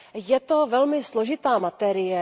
Je to velmi složitá materie.